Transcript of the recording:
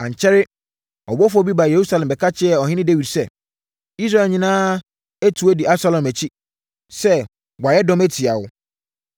Ankyɛre, ɔbɔfoɔ bi baa Yerusalem bɛka kyerɛɛ ɔhene Dawid sɛ, “Israel nyinaa atu di Absalom akyi sɛ wɔayɛ dɔm atia wo.”